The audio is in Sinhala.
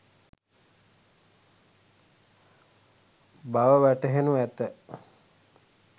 බව වැටහෙනු ඇත.